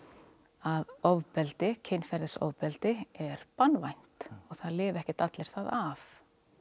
að ofbeldi kynferðisofbeldi er banvænt og það lifa ekkert allir það af